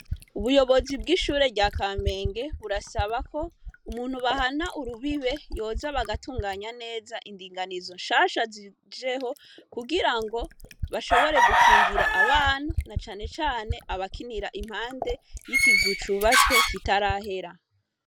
Ubuyobozi bw'ishure rya Kamenge burasaba ko, umuntu bahana urubibe yoza bagatunganya neza indinganizo nshasha zijeho, kugira ngo bashobore gukingira abana, na cane cane abakinira impande y'ikizu cubatswe gishasha kitarahera.